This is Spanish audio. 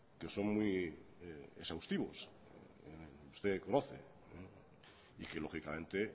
que son muy exhaustivos usted conoce y que lógicamente